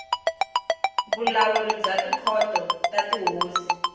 vulawuri bya tikhoto ta tihosi